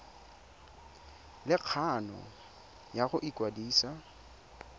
le kgano ya go ikwadisa